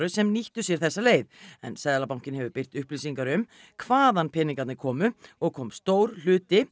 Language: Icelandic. sem nýttu sér þessa leið en Seðlabankinn hefur birt upplýsingar um hvaðan peningarnir komu og kom stór hluti